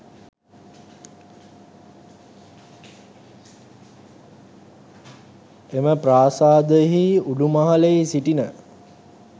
එම ප්‍රාසාදයෙහි උඩුමහලෙහි සිටින